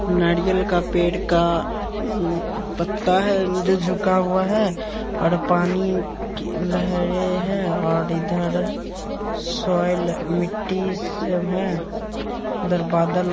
नारियल का पेड़ का पत्ता है जो झुका हुआ है और पानी की लहरें हैं और इधर सॉइल मिट्टी सब है इधर बादल--